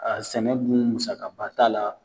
A sɛnɛ dun musakaba t'a la